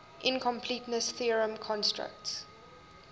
incompleteness theorem constructs